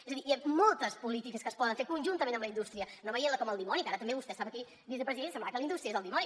és a dir moltes polítiques que es poden fer conjuntament amb la indústria no veient la com el dimoni que ara també vostè estava aquí vicepresident i semblava que la indústria és el dimoni